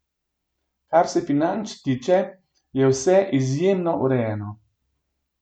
Kar se financ tiče, je vse izjemno urejeno.